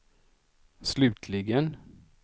slutligen